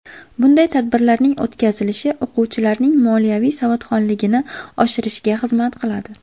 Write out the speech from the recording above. Bunday tadbirlarning o‘tkazilishi o‘quvchilarning moliyaviy savodxonligini oshirishga xizmat qiladi.